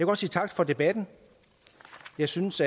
godt sige tak for debatten jeg synes